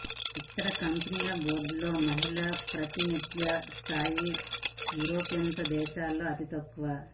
ఇక్కడి కంపెనీల బోర్డులలో మహిళల ప్రాతినిధ్య స్థాయి యూరోపియన్ దేశాలలో అతి తక్కువ